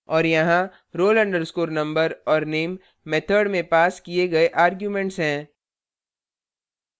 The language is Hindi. और यहाँ roll _ number और name method में passed किए गए arguments हैं